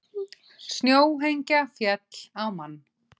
Snjóhengja féll á mann